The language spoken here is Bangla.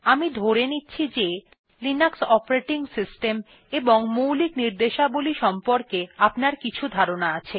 আমি ধরে নিচ্ছি লিনাক্স অপারেটিং সিস্টেম এবং মৌলিক নির্দেশাবলী সম্পর্কে আপনার কিছু ধারণা আছে